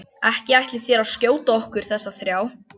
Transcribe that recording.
Ekki ætlið þér að skjóta okkur þessa þrjá?